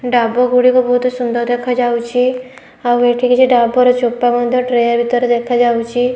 ଢ଼ାବ ଗୋଟିକ ବହୁତ ସୁନ୍ଦର ଦେଖା ଯାଉଚି ଆଉ ଏଇଠି କିଛି ଢ଼ାବ ଚୁପା ମଧ୍ଯ ଟ୍ରୟ ଦେଖା ଯାଉଚି।